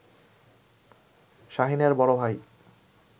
শাহীনের বড় ভাই